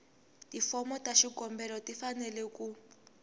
tifomo ta xikombelo tifanele ku